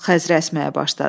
Xəzrə əsməyə başladı.